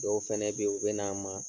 Dɔw fɛnɛ be ye, u bɛn'an ma